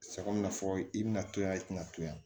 Sabu n'a fɔ i bina to yan i tɛna to yan